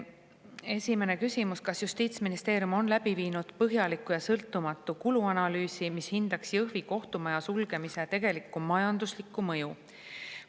Esimene küsimus: "Kas Justiitsministeerium on läbi viinud põhjaliku ja sõltumatu kuluanalüüsi, mis hindaks Jõhvi kohtumaja sulgemise tegelikku majanduslikku mõju?